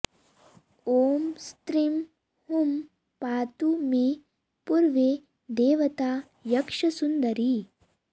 ॐ स्रीं हूं पातु मे पूर्वे देवता यक्षसुन्दरी